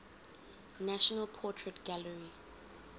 national portrait gallery